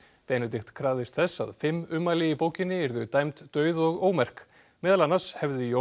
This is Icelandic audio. Benedikt krafðist þess að fimm ummæli í bókinni yrðu dæmd dauð og ómerk meðal annars hefði Jón